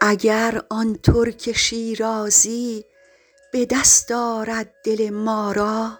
اگر آن ترک شیرازی به دست آرد دل ما را